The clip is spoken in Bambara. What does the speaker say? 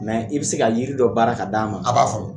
Nka i bɛ se ka jiri dɔ baara k'a d'a ma a b'a fɔnɔ